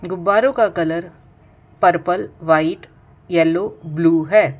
गुब्बरो का colour purple white yellow blue है।